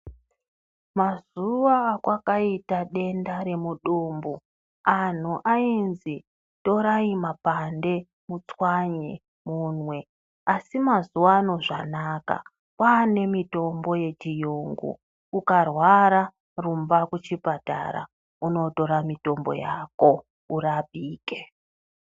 Mazuva akwakaita denda remudumbu anhu ainzi torai mapande mutswanye mumwe. Asi mazuvano zvanaka, kwaane mitombo yechiyungu, ukarwara rumba kuchipatara unotora mitombo yako, urapike.